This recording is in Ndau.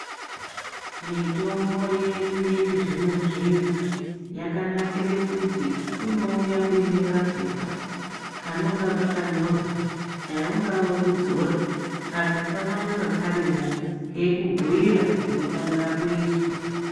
Mitombo yedu yechizvino zvino yakanakire kuti inouya uine kapepa kaninga kakanyorwa dai ungaa wekudzora kapepa kanonga karimo keikubhiira zvinofanira kuizwa.